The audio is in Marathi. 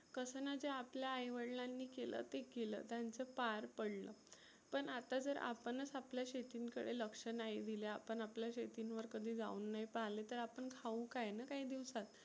कसं ना ते आपल्या आई वडीलांनी केल ते केल त्यांच पार पडलं. पण आता आपणच जर आपल्या शेतींं कडे लक्ष नाही दिले आपण आपल्या शेतींवर कधी जाऊन नाही पाहले तर आपण खाऊ काय ना काही दिवसात.